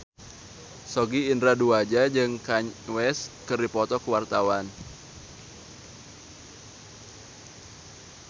Sogi Indra Duaja jeung Kanye West keur dipoto ku wartawan